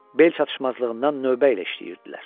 Bel çatışmazlığından növbə ilə işləyirdilər.